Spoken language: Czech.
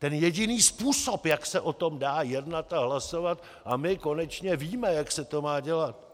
Ten jediný způsob, jak se o tom dá jednat a hlasovat, a my konečně víme, jak se to má dělat.